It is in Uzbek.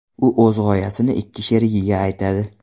U o‘z g‘oyasini ikki sherigiga aytadi.